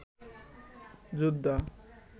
যোদ্ধা